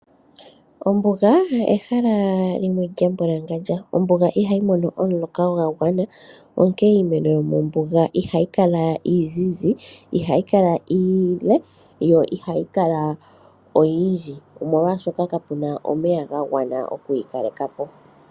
Ombuga oyo ehala lyimwe lya mbwalangandja ,ombuga ihayi mono omuloka gwa gwana . Onkene iimeno yo mombuga ihayi kala izizi ,ihayi kala iile yo ihayi kala oyindji, omolwashoka ka puna omeya ga gwana okuyi kalekapo.